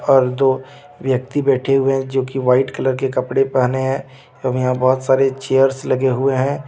और दो व्यक्ति बैठे हुए हैं जो की वाइट कलर के कपडे पहने हैं और यहाँ बोहोत सारे चेयर्स लगे हुए हैं.